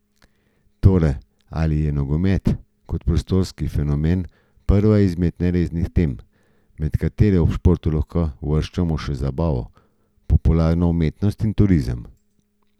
Torej ali je nogomet kot postranski fenomen prva izmed neresnih tem, med katere ob športu lahko uvrščamo še zabavo, popularno umetnost in turizem.